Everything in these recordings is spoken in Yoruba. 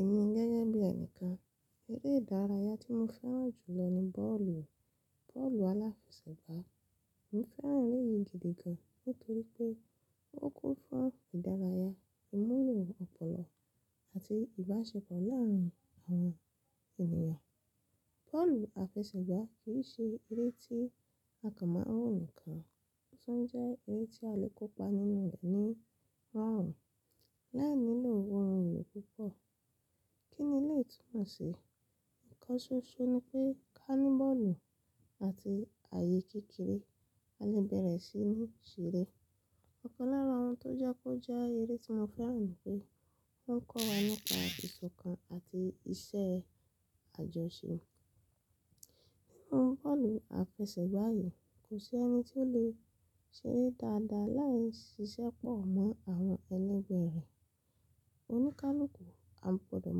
Èmi gẹ́gẹ́ bí ẹnìkan, eré ìdárayá tí mo fẹ́ràn jù lọ ni bọ́ọ̀lù, bọ́ọ̀lù aláfẹsẹ̀gbá. Mo fẹ́ràn eré yìí gidi gan nítorí pé ó kún fún ìdárayá, ìmúlò ọ̀pọ̀lọ àti ìbáṣepọ̀ láàárín àwọn ènìyàn. Bọ́ọ̀lù àfẹsẹ̀gbá kì í ṣe eré tí a kàn mọ́ wo nìkan, ó tún jẹ́ eré tí a lè kópa nínú rẹ̀ ní márùn-ún láì nílò ohun-ìlò púpọ̀. Kí ni lè tún ma sí i? Ìkansọsọ ni pé kánì bọ́ọ̀lù àti ààyè kékeré a lè bẹ̀rẹ̀ sí ní ṣeré. Ọ̀kan lára ohun tó jẹ́ kó jẹ́ eré tí mo fẹ́ràn ni pé ó ń kọ́ wa nípa ìṣọ̀kan àti iṣẹ́ àjọṣe. Nínú bọ́ọ̀lù àfẹsẹ̀gbá yìí kò sí ẹni tí ó lè ṣeré dáadáa láì ṣiṣẹ́pọ̀ mọ́ àwọn ẹlẹgbẹ́ rẹ̀. Oníkálukú, a gbọdọ̀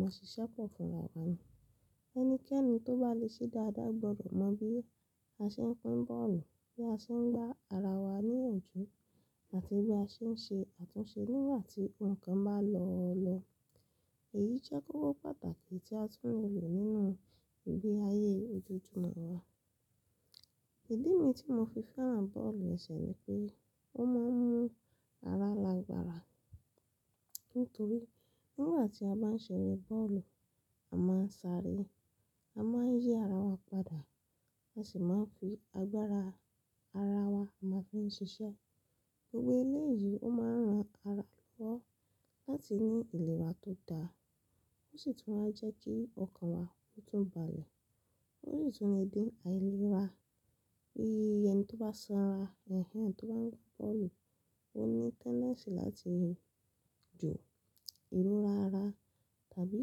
mọ ṣiṣẹ́pọ̀ fúnra wọn. Ẹnikẹ́ni tó bá le ṣe dáadáa gbọdọ̀ mọ bí a ṣe ń pín bọ́ọ̀lù, bí a ṣe ń gba ara wa níyànjú àti bí a ṣe ń ṣe àtúnṣe nígbà tí ohun kan bá lọ lọ. Èyí jẹ́ kókó pàtàkì tí a tún lè lò nínú ìgbé ayé ojoojúmọ́ wa. Ìdí mi tí mo fi fẹ́ràn bọ́ọ̀lù ẹsẹ̀ ni pé ó máa ń mú ara lagbara. Nítorí nígbà tí a bá ń ṣeré bọ́ọ̀lù, a má ń sáré, a má ń yí ara wa padà, a sì má ń fi agbára ara wa máa fi ń ṣiṣẹ́. Gbogbo eléyìí ó máa ń ran ara lọ́wọ́ láti ní ìlera tó dáa, ó sì tún máa ń jẹ́ kí ọkàn wa tún bàle, ó sì tún lè dín àìlera bí ẹni tó bá sanra, ẹni tí ó bá ń gba bọ́ọ̀lù, ó ní tendency láti jò, ìlera ara tàbí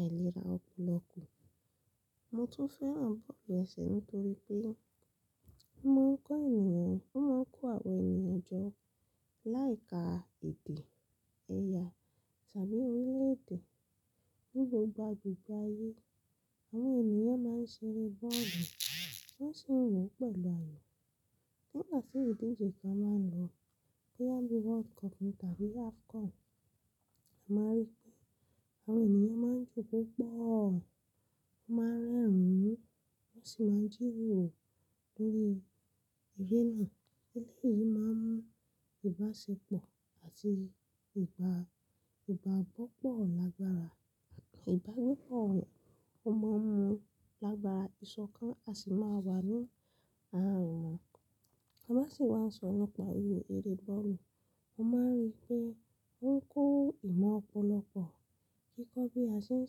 àìlera ọpọlọ ku. Mo tún fẹ́ràn bọ́ọ̀lù ẹsẹ̀ nítorí pé ó máa ń kọ́ ènìyàn, ó máa ń kó àwọn ènìyàn jọ láì ka èdè ẹ̀ya tàbí orílẹ̀-èdè. Ni gbogbo àgbègbè ayé àwọn ènìyàn máa ń ṣeré bọ́ọ̀lù, wọ́n sì ń wò ó pẹ̀lú ayò. Nígbà tí ìdíje kan máa ń lọ, boya bí World Cup ní tàbí AFCON, a máa rí pé àwọn ènìyàn máa ń jò pọ̀, wọ́n máa ń rẹ́rìn-ín, wọ́n sì má ń jíroro lórí eré náà. Eléyìí máa ń mú ìbáṣepọ̀ àti ìbá ìbá bọ́ọ̀pọ̀ lágbára àti ìbánikọ̀. Ó máa ń mú lágbára ìṣọ̀kan a sì máa wà ní ààrùn. Ta bá sì wá nsọ nípa oyè eré bọ́ọ̀lù, mó máa ń rí pé ó ń kó ìmọ̀ ọ̀pọ̀lọ pọ̀. Kíkọ́ bí a ṣe ń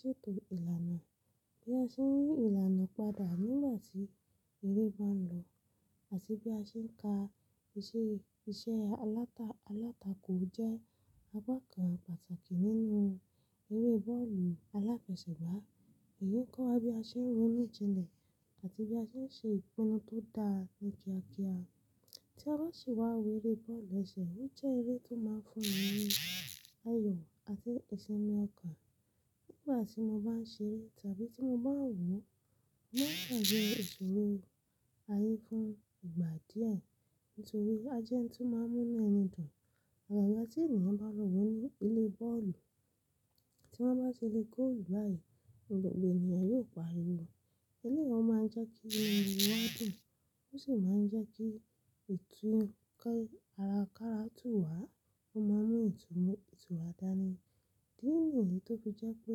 ṣètò ìlànà, bí a ṣe ń yí ìlànà padà nígbà tí eré bá ń lọ àti bí a ṣe ń ka iṣẹ́ iṣẹ́ alátakò jẹ́ àpá kàn pàtàkì nínú eré bọ́ọ̀lù aláfẹsẹ̀gbá. Èyí ń kọ́ wa bí a ṣe ń ronú jinlẹ̀ àti bí a ṣe ń ṣe ìpinnu tó dáa ní kíákíá. Tí a bá sì wá wo eré bọ́ọ̀lù ẹsẹ̀, ó jẹ́ eré tó máa ń fún mi ní ayọ̀ àti ìṣẹmi ọkàn nígbà tí mo bá ń ṣeré tàbí tí mo bá ń wò ó. Ó máa ń jẹ́ ìṣòro ayé fún ìgbà díẹ̀ nítorí pé a jẹ́ ẹni tí ó máa ń rúnú ẹni dùn. Ìgàga tí ènìyàn bá lọ wò ní ìle bọ́ọ̀lù tí wọ́n bá ti le góòlù báyìí, gbogbo ènìyàn yóò paríwò. Eléyìí ó máa ń jẹ́ kí ilẹ̀ ń dùn wádùn, ó sì máa ń jẹ́ kí ìtúkọ̀ ara káratù wà, ó máa ń mú ìtura dánì idí ni èyí tó fi jẹ́ pé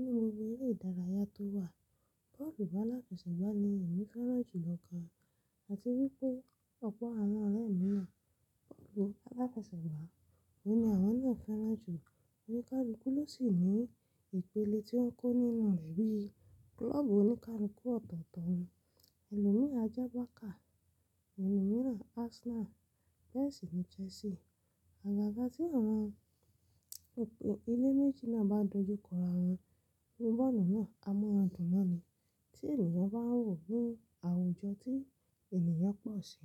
nínú gbogbo eré ìdárayá tó wà, bọ́ọ̀lù aláfẹsẹ̀gbá ni èmi fẹ́ràn jù lọ ká àti wípé ọ̀pọ̀ àwon ọ̀rẹ́ mi bọ́ọ̀lù aláfẹsẹ̀gbá òhùn ni àwon náà fẹràn jù. Oníkálukú ló sì ní ìpele tí ó ń kó nínú rẹ̀ bí klọ́ọ̀bù oníkálukú ọ̀tọ̀ọ̀tọ̀, ẹlòmíràn Ajábákà, ẹni mìíràn Arsenal, bẹ́ẹ̀ sì ní Chelsea. Àgàga tí àwọn ilé méjì náà bá dojúkọ ara wọn ní bọ́ọ̀lù náà, a mọ̀ran dùn náà ni tí ènìyàn bá ń wò ó ní àwùjọ tí ènìyàn pọ̀ sí.